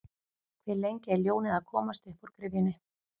Hve lengi er ljónið að komast uppúr gryfjunni?